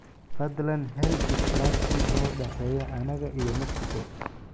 fadlan hel is dhaafsi noo dhexeeya anaga iyo mexico